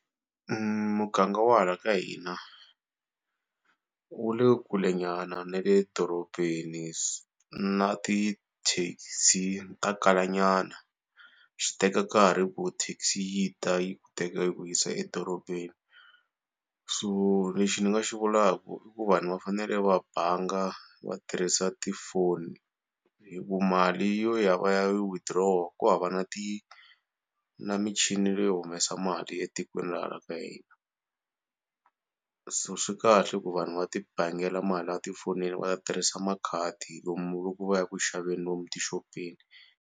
Muganga wa hala ka hina wu le kulenyana na le dorobeni na ti-taxi ta kalanyana. Swi teka nkarhi ku taxi yi ta yi ku teka yi ku yisa edorobeni so lexi ni nga xi vulaka i ku vanhu va fanele va banga va tirhisa ti-phone. Hi ku mali yo ya va ya withdraw ku hava na ti na michini leyo humesa mali etikweni ra hala ka hina so swi kahle ku vanhu va ti bangela mali a tifonini va tirhisa makhadi lomu loko va ya ku xaveni lomu tixopeni.